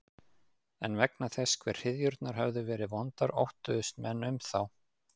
En vegna þess hve hryðjurnar höfðu verið vondar óttuðust menn um þá.